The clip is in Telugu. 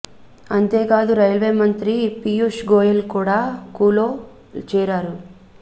అంతేకాదు రైల్వే మంత్రి పియూష్ గోయల్ కూడా కూ లో చేరారు